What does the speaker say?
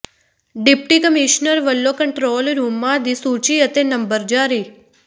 deputy commissioner ਵੱਲੋਂ control ਰੂਮਾਂ ਦੀ ਸੂਚੀ ਅਤੇ ਨੰਬਰ ਜਾਰੀ